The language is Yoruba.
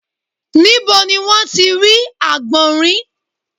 Níbo ni wọ́n ti rí àgbọ̀nrín?